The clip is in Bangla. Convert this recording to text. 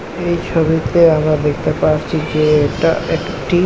এই ছবিতে আবার দেখতে পারছি যে এটা একটি--